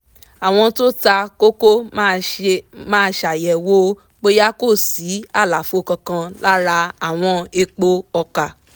àwọn tó ta koko máa ṣàyẹ̀wò bóyá kò sí àlàfo kankan lára àwọn èèpo ọkà